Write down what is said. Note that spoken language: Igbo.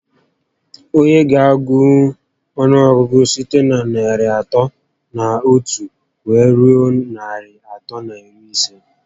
Onye ga agụnwu ọnụọgụgụ site na narị atọ na otu wee rue narị atọ na iri ise?